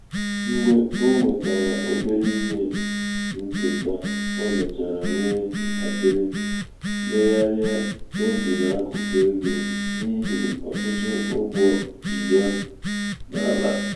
mgbe o nwetara obere ihe nketa o mechara nwee ntakịrị mmegharị obi n’akụkụ ego um n’ihi ọtụtụ ụgwọ ji ya ji ya um n’ala